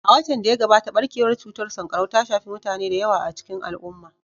A watan da ya gabata, barkewar cutar sankarau ta shafi mutane da yawa a cikin al'umma